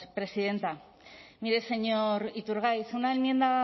presidenta mire señor iturgaiz una enmienda